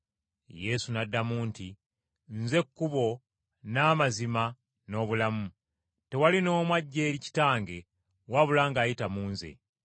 Yesu n’addamu nti, “Nze kkubo, n’amazima n’obulamu. Tewali n’omu ajja eri Kitange wabula ng’ayita mu Nze.